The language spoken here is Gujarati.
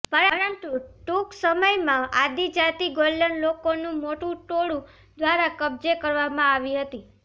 પરંતુ ટૂંક સમયમાં આદિજાતિ ગોલ્ડન લોકોનું મોટું ટોળું દ્વારા કબજે કરવામાં આવી હતી